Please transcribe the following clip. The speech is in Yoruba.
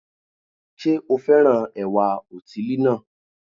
Sé o fẹ́ràn ẹ̀wà òtílí náà